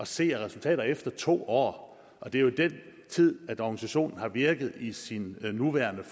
se af resultater efter to år det er jo den tid organisationen har virket i i sin nuværende